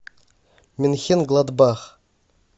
менхенгладбах